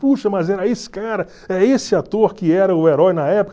Puxa, mas era esse cara, é esse ator que era o herói na época?